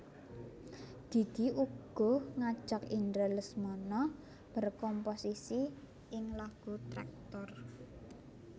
Gigi uga ngajak Indra Lesmana berkomposisi ing lagu Tractor